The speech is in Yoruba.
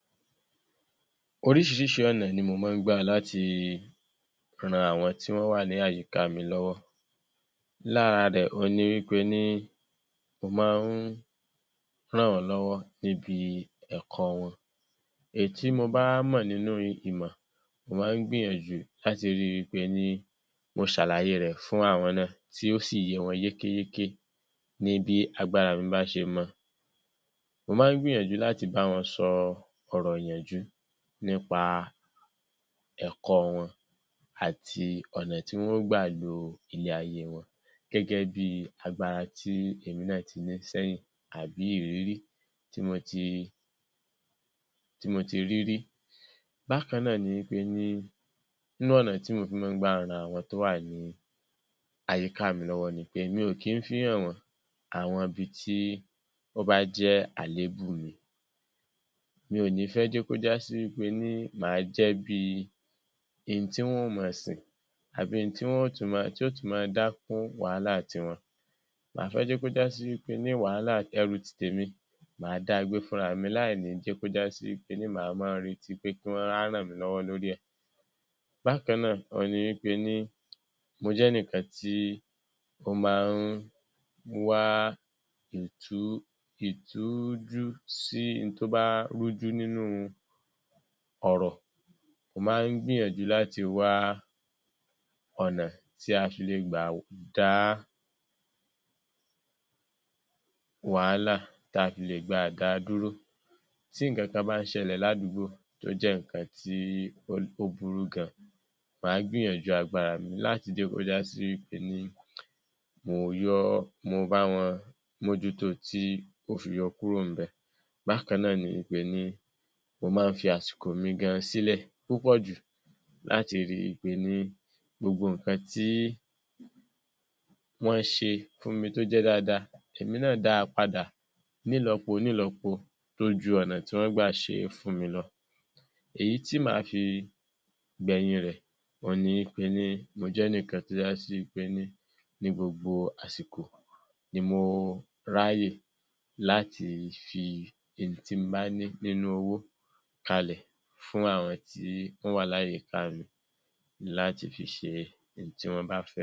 Oríṣiríṣi ọ̀nà ni mo máa ń gbà láti ràn àwọn tí wọ́n wà ní àyíká mi lọ́wọ́. Lára rẹ̀, òun ni wí pe ní, mo máa ń ràn wọ́n lọ́wọ́ níbi ẹ̀kọ́ wọn. Èyí tí mo bá mọ̀ nínú ìmọ̀, mo máa ń gbìyànjú láti rí i wi pe ní mo ṣàlàyé fún àwọn náà, tí ó sì yé wọn yékéyéké ní bí agbára mi bá ṣe mọ. Mo máa ń gbìyànjú láti bá wọn sọ ọ̀rọ̀ ìyànjú nípa ẹ̀kọ́ wọn àti ọ̀nà tí wọn ó gbà lo ilé ayé wọn gẹ́gẹ́ bí agbára tí èmi náà ti ní sẹ́yìn, àbí ìrírí tí mo ti, tí mo ti rí rí. Bákan náà ni wí pe ní nínú ọnà tí mo fi máa ń gbà ran àwọn tó wà ní àyíká mi lọ́wọ́ ni pé, mi ò kí ń fi í hàn wọ́n àwọn ibi tí ó bá jẹ́ àlébù mi. Mi ò ní fẹ́ jẹ́ kó já sí wí pé ní màá jẹ́ bíi in tí wọn ó máa sìn àbí in ti wọn ó tún máa, tí ó tún máa dá kún wàhálà tiwọn. Màá fẹ jẹ́ kó já sí wí pe ní wàhálà, ẹrù titèmi, màá dá a gbé fúnra mi láìní jẹ́ kó já sí wí pe ní màá máa retí kí wọ́n wá ràn mí lọ́wọ́ lórí ẹ̀. Bákan náà, òun ni wí pe ní mo jẹ́nìkan tí ó máa ń wá ìtú, ìtújú sí in tó bá rújú nínú ọ̀rọ̀. Mo máa ń gbìyànjú láti wá ọ̀nà tí a fi lè gbà dá wàhálà, tí a fi lè gbà dá a dúró. Tí nǹkan kan bá ń ṣẹlẹ̀ ládùúgbò, tó jẹ́ nǹkan tó burú gan, màá gbìyànjú agbára mi láti jẹ́ kó já sí wí pé ní mo yọ́, mo bá wọn mójú tó o fi yọ kuro ḿbẹ̀. Bákan náà wí pe ní mo máa ń fi àsìkò mi gan sílẹ̀ púpọ̀ jù láti rí i wí pe ní gbogbo nǹkan tí wọ́n ṣe fún mi tó jẹ́ dáadáa, èmi náà dá a padà nílọpo-nílọpo tó ju ọ̀nà tí wọ́n gbà ṣe é fún mi lọ. Èyí tí màá fi gbẹ̀yìn rẹ̀, òun ni wí pe ní mo jẹ́nìkan tó já sí wí pe ní, ní gbogbo àsìkò ni mo ráàyè láti fi in tí n bá ní nínú owó kalẹ̀ fún àwọn tí wọ́n wà láyìíká mi láti fi ṣe in tí wọ́n bá fẹ́.